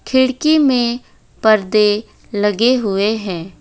खिड़की में परदे लगे हुए हैं।